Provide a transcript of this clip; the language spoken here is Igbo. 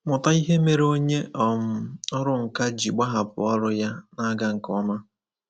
Mụta ihe mere onye um ọrụ nkà ji gbahapụ ọrụ ya na-aga nke ọma.